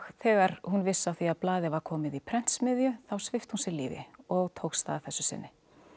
þegar hún vissi af því að blaðið var komið í prentsmiðju þá svipti hún sig lífi og tókst það að þessu sinni